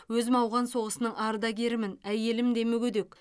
өзім ауған соғысының ардагерімін әйелім де мүгедек